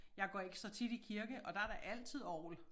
Jeg går ikke så tit i kirke og der der altid orgel